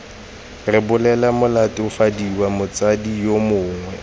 rebolela molatofadiwa motsadi yo mongwe